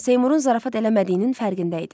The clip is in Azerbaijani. Seymurun zarafat eləmədiyinin fərqində idi.